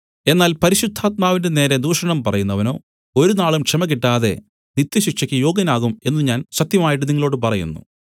എന്നാൽ പരിശുദ്ധാത്മാവിന്റെ നേരെ ദൂഷണം പറയുന്നവനോ ഒരുനാളും ക്ഷമ കിട്ടാതെ നിത്യശിക്ഷയ്ക്ക് യോഗ്യനാകും എന്നു ഞാൻ സത്യമായിട്ട് നിങ്ങളോടു പറയുന്നു